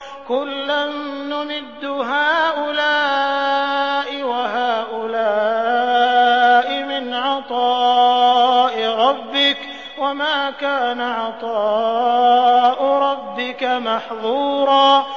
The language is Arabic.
كُلًّا نُّمِدُّ هَٰؤُلَاءِ وَهَٰؤُلَاءِ مِنْ عَطَاءِ رَبِّكَ ۚ وَمَا كَانَ عَطَاءُ رَبِّكَ مَحْظُورًا